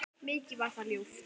Mikið var það ljúft.